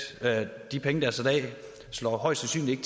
og de penge der er sat af slår højst sandsynligt